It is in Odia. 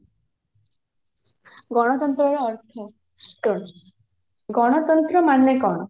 ଗଣତନ୍ତ୍ର ର ଅର୍ଥ ଗଣତନ୍ତ୍ର ମାନେ କଣ